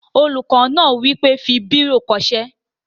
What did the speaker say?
Olùkọ́ náà wí pé, "fi bírò kọ ṣé!"